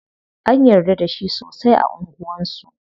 An yarda da shi sosai a anguwan su.